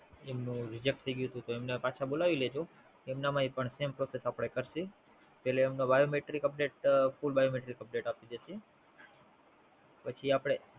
એમનું Reject થાય ગયું તું, તો એમને પાછા બોલાવી લેજો એમના પણ Same process